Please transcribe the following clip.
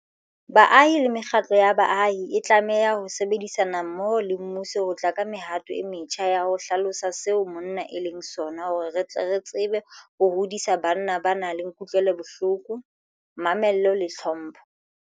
Baahi le mekgatlo ya baahi e tlameha ho sebedisana mmoho le mmuso ho tla ka mehato e metjha ya ho hlalosa seo monna e leng sona hore re tle re tsebe ho hodisa banna ba nang le kutlwelobohloko, mamello le tlhompho.